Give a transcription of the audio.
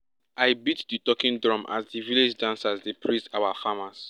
i beat di talking drum as di village dancers dey praise our farmers